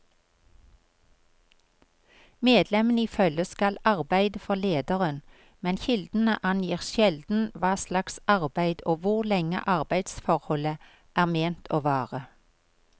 Medlemmene i følget skal arbeide for lederen, men kildene angir sjelden hva slags arbeid og hvor lenge arbeidsforholdet er ment å vare.